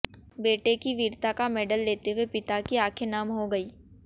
बेटे की वीरता का मेडल लेते हुए पिता की आंखें नम हो गईं